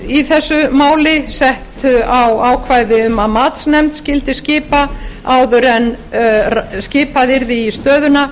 í þessu máli sett á ákvæði um að matsnefnd skyldi skipa áður en skipað yrði í stöðuna